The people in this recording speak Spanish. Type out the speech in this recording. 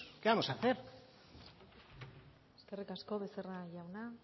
qué vamos a hacer eskerrik asko becerra jauna